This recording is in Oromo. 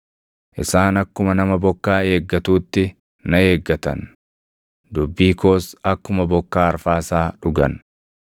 Isaan akkuma nama bokkaa eeggatuutti na eeggatan; dubbii koos akkuma bokkaa arfaasaa dhugan.